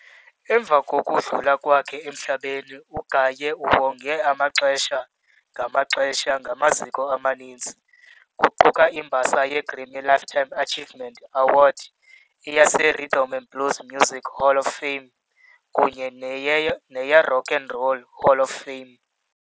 Emva kokukudlula kwakhe emhlabeni, UGaye uwongwe amaxesha ngamaxesha ngamaziko amaninzi, kuquka imbasa yeGrammy Lifetime Achievement Award, eyeRhythm and Blues Music Hall of Fame kunye neyeRock and Roll Hall of Fame.